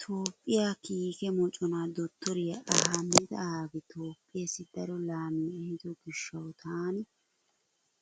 Toophphiyaa kiike moconaa dottoriyaa Ahimada Abi Toophphiyaasai daro laamiyaa ehiido gishshawu taani